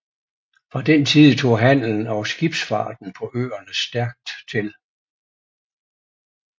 Fra den tid tog handelen og skibsfarten på øerne stærkt til